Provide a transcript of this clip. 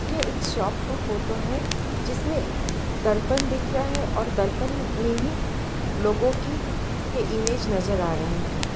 यह एक शॉप का फोटो है जिसमें दर्पण दिख रहा है और दर्पण में ही लोगों की के इमेज नजर आ रहे हैं।